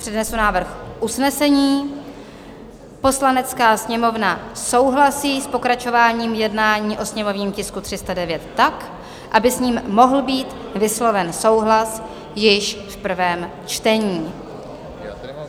Přednesu návrh usnesení: "Poslanecká sněmovna souhlasí s pokračováním jednání o sněmovním tisku 309 tak, aby s ním mohl být vysloven souhlas již v prvém čtení."